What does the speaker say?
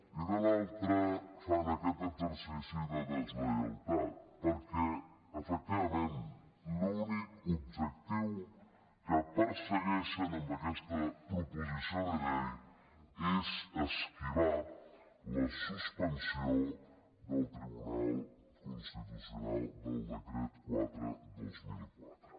i de l’altre fan aquest exercici de deslleialtat perquè efectivament l’únic objectiu que persegueixen amb aquesta proposició de llei és esquivar la suspensió del tribunal constitucional del decret quatre dos mil quatre